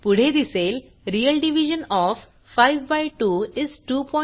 पुढे दिसेल real division of 5 by 2 is 250